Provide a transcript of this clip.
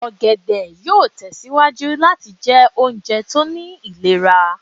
ògèdè yoo tẹsiwaju lati jẹ ounjẹ to ni ilera